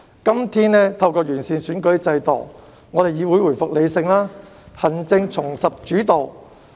今天，完善選舉制度令議會回復理性，行政重拾主導。